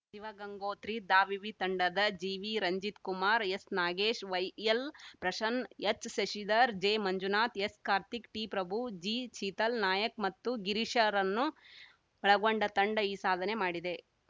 ಶಿವಗಂಗೋತ್ರಿ ದಾವಿವಿ ತಂಡದ ಜಿವಿರಂಜಿತ್ ಕುಮಾರ್ ಎಸ್‌ನಾಗೇಶ್ ವೈಎಲ್‌ಪ್ರಶನ್ನ್ ಎಚ್‌ಶಶಿಧರ್ ಜೆಮಂಜುನಾಥ್ ಎಸ್‌ಕಾರ್ತಿಕ್ ಟಿಪ್ರಭು ಜಿಶೀತಲ್‌ ನಾಯಕ್‌ ಮತ್ತು ಗಿರೀಶರನ್ನು ಒಳಗೊಂಡ ತಂಡ ಈ ಸಾಧನೆ ಮಾಡಿದೆ